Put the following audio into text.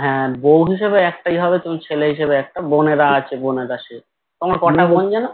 হে বউ হিসেবে একটাই হবে তুমি ছেলে হিসেবে একটা বোনেরা আছে বোনেরা সে তোমার বোন কয়টা যেনো